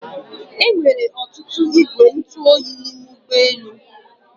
Enwere ọtụtụ igwe ntụ oyi n'ime ụgbọ elu